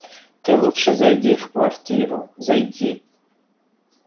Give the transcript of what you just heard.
ты лучше зайди в квартиру зайди